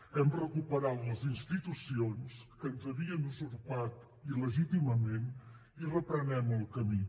hem recuperat les institucions que ens havien usurpat il·legítimament i reprenem el camí